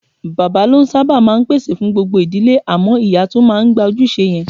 Bàbá ló sábà máa ń pèsè fún gbogbo ìdílé, àmọ́ ìyá tún máa ń gba ojúṣe yẹn.